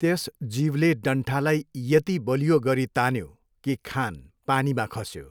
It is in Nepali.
त्यस जीवले डन्ठालाई यति बलियो गरी तान्यो कि खान पानीमा खस्यो।